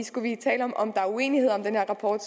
skulle vi tale om om der er uenighed om den her rapport